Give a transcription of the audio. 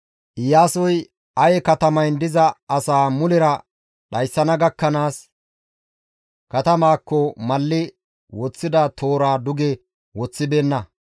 Iyaasoy Aye katamayn diza asaa mulera dhayssana gakkanaas katamaakko malli woththida tooraa duge woththibeenna.